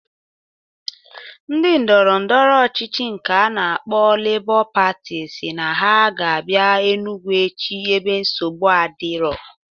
Ndi ndọrọndọrọ ọchịchị nke a na-akpọ Lebọ Patị siri na ha ga abia Enugwu echi ebe nsogbu adiro